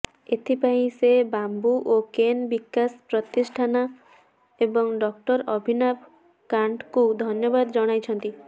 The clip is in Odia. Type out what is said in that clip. ଏଥିପାଇଁ ସେ ବାମ୍ବୁ ଓ କେନ୍ ବିକାଶ ପ୍ରତିଷ୍ଠାନ ଏବଂ ଡକ୍ଟର ଅଭିନାଭ କାଣ୍ଟଙ୍କୁ ଧନ୍ୟବାଦ ଜଣାଇଛନ୍ତି